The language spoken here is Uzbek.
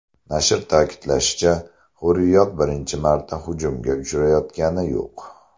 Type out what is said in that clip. Nashr ta’kidlashicha, Hurriyet birinchi marta hujumga uchrayotgani yo‘q.